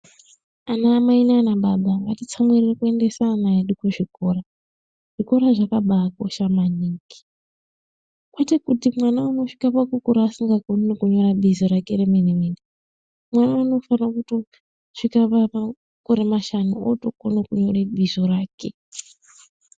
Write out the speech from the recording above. Ana mai nana baba ngatitsamwirira kuendesa ana edu kuzvikora zvikora zvakabakosha maningi kwete kuti mwana anosvika pakukura asingakoni kunyora bizo rake remene mene mwana anofana kutosvika pamakore mashanu okona kunyora bizo rake.